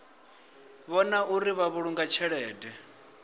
vhona uri vha vhulunga tshelede